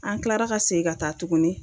An kilara ka segin ka taa tuguni.